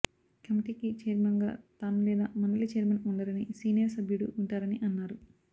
కమిటీకి ఛైర్మన్గా తాను లేదా మండలి ఛైర్మన్ ఉండరని సీనియర్ సభ్యుడు ఉంటారని అన్నారు